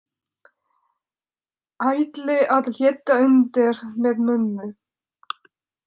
Ætli að létta undir með mömmu.